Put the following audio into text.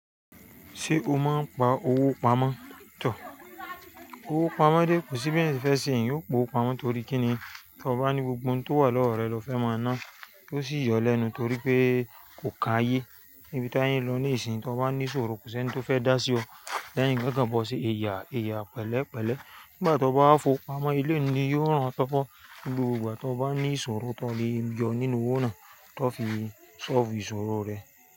Ṣé o máa ń pa owó pamọ́? Tọ̀ọ́ owó pamọ́ dé kò sí bí ẹnì fẹ́ ṣe yóò po pamọ́ torí kí ni tí o bá ní gbogbo ohun tó wà lọ́wọ́ rẹ, lọ fẹ́ máa ná, ó sì yọ ọ́ lẹ́nu torí pé kò kan ayé. Níbi táyé ń lọ níìsín, tí o bá ní ìṣòro kò sí ẹni tí ó fẹ́ dá sí ọ, lẹ́yìn ko kan bọ́ ọ ṣe ẹ̀ya, ẹ̀ya, pẹ̀lẹ́pẹ̀lẹ́. Nígbà tí o bá fọ pamọ́, ilé nì yóò ran ọ tọ́ọ́fọ́. Ní gbogbo ìgbà tí o bá ní ìṣòro, tọ́ lè jọ nínú owó náà, tọ́ fi ṣọ́ọ́ fù ìṣòro rẹ.